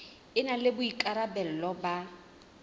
e na le boikarabelo ba